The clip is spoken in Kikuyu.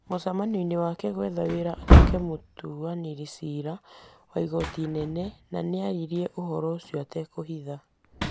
mucemanionĩ wake gwetha wĩra atuĩke mũtuanĩri cira wa igooti inene, nĩ aririe ũhoro ũcio atekũhitha.